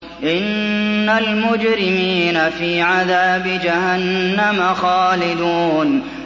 إِنَّ الْمُجْرِمِينَ فِي عَذَابِ جَهَنَّمَ خَالِدُونَ